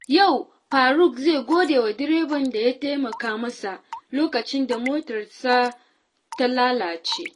Yau, Faruq zai gode wa direban da ya taimaka masa lokacin da motarsa ta lalace.